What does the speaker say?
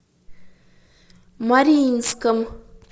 мариинском